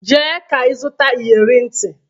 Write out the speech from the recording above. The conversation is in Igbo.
Jee ka ịzụta iyere ntị!